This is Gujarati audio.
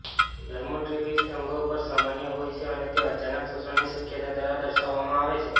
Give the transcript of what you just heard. ડર્મટોફિબ્રમ્સ અંગો પર સામાન્ય હોય છે અને તે અચાનક શોષણની શક્યતા દ્વારા દર્શાવવામાં આવે છે